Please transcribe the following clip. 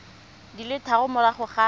di le tharo morago ga